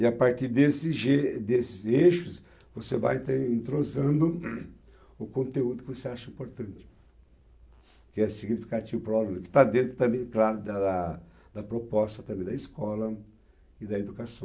E a partir desses e desses eixos, você vai então entrosando o conteúdo que você acha importante, que é significativo para o aluno, que está dentro também, claro, da da proposta também da escola e da educação.